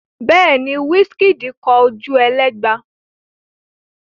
Bẹ́ẹ̀ ni, Wizkid kọ Ojuelegba.